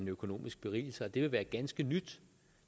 økonomisk berigelse og det vil være ganske nyt